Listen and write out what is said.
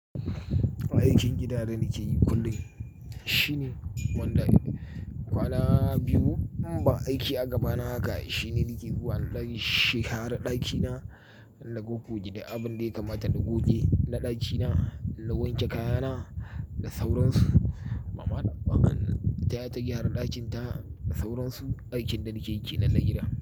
Aikin gidana da nake yi kullum shine kwana biyu in ba aiki a gaba na haka. Shine da ke zuwa ɗan shara ɗakina, na goggoge da abin da ya kamata na goge na ɗakina, na wanke kayana da sauransu. Mama taya ta gyara ɗakinta da sauransu. Aikin da nake kenan na gida.